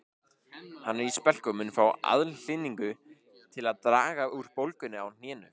Hann er í spelku og mun fá aðhlynningu til að draga úr bólgunni á hnénu